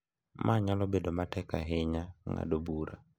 Ma nyalo bedo matek ahinya ng’ado bura.